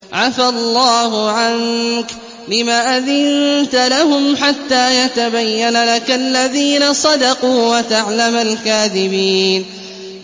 عَفَا اللَّهُ عَنكَ لِمَ أَذِنتَ لَهُمْ حَتَّىٰ يَتَبَيَّنَ لَكَ الَّذِينَ صَدَقُوا وَتَعْلَمَ الْكَاذِبِينَ